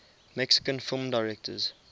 mexican film directors